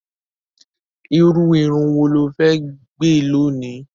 Irú irun wo lo fẹ́ gẹ̀ lónìí?